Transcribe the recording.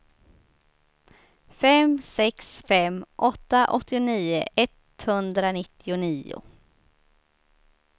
fem sex fem åtta åttionio etthundranittionio